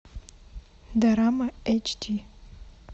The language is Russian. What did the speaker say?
дорама эйч ди